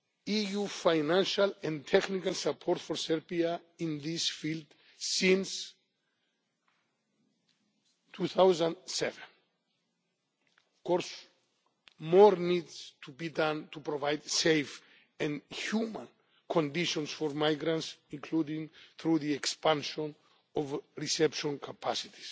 million in EU financial and technical support for Serbia in this field since 2007. Of course, more needs to be done to provide safe and humane conditions for migrants, including through the expansion of reception